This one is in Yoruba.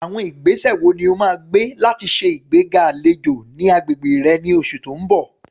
Àwọn ìgbésẹ̀ wo ni o máa gbé láti ṣe ìgbéga àlejò ní agbègbè rẹ ní oṣù tó ń bọ̀?